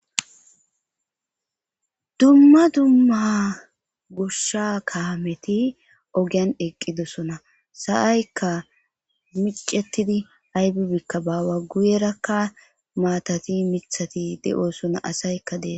dumma dumma goshsha kaameti ogiyan eqqidosona sa7aykka micetidi aybibikka baawa guyerakka maatati mithati de7oosona asaykka dee